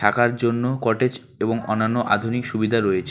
কার জন্য কটেজ এবং অন্যান্য আধুনিক সুবিধা রয়েছে।